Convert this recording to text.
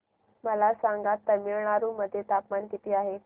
मला सांगा तमिळनाडू मध्ये तापमान किती आहे